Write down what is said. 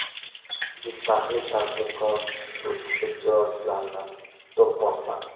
Jizzaxlik tadbirkor sud ijrochilarini do‘pposladi.